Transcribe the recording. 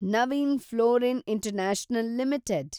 Naveen fluorine international limited